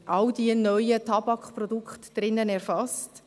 all diese neuen Tabakprodukte sind erfasst.